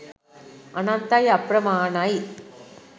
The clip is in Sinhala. අනන්තයි අප්‍රමාණයි